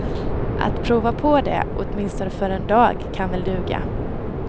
Att prova på det, åtminstone för en dag, kan väl duga.